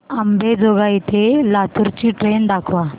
अंबेजोगाई ते लातूर ची ट्रेन दाखवा